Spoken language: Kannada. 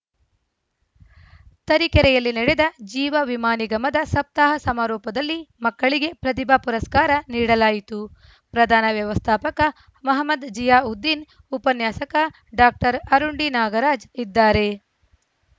ತರೀಕೆರೆಯಲ್ಲಿ ನಡೆದ ಜೀವವಿಮಾ ನಿಗಮದ ಸಪ್ತಾಹ ಸಮಾರೋಪದಲ್ಲಿ ಮಕ್ಕಳಿಗೆ ಪ್ರತಿಭಾ ಪುರಸ್ಕಾರ ನೀಡಲಾಯಿತು ಪ್ರಧಾನ ವ್ಯವಸ್ಥಾಪಕ ಮಹಮದ್‌ ಜೀಯಾ ಉದ್ದೀನ್‌ ಉಪನ್ಯಾಸಕ ಡಾಕ್ಟರ್ ಅರುಂಡಿ ನಾಗರಾಜ್‌ ಇದ್ದಾರೆ